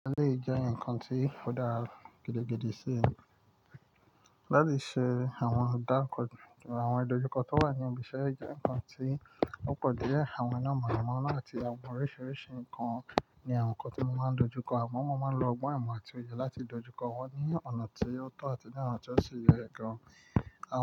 Wọn le jẹ́ ǹkan tí ó dára gidigidi sí ẹ̀. Láti ṣe àwọn ọ̀dá, àwọn ìdojúkọ tó wà ní ibi iṣẹ́ jẹ́ ǹkan tí ó pọ̀ dié. Àwọn iná mọ̀nàmọ́ náà àti àwọn oríṣiríṣi ǹkan ni àwọn ǹkan tí mo máa ń dojú kọ. Amo, mo máa ń lo ọgbọ́n, imo àti oye láti dojú kọ wọ́n ní ọ̀nà ti o tọ́ àti ní ona tí o si yẹ gan.